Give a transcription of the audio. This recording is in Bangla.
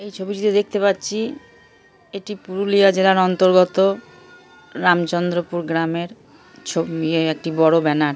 এই ছবিটিতে দেখতে পাচ্ছি এটি পুরুলিয়া জেলার অন্তর্গত রামচন্দ্রপুর গ্রামের ছবি এ একটি বড় ব্যানার ।